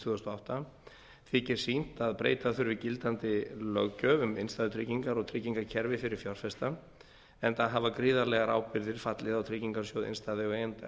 og átta þykir sýnt að breyta þurfi gildandi löggjöf um innstæðutryggingar og tryggingakerfi fyrir fjárfesta enda hafa gríðarlegar ábyrgðir fallið á tryggingarsjóð innstæðueigenda